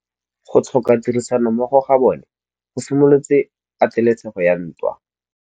Go tlhoka tirsanommogo ga bone go simolotse patêlêsêgô ya ntwa.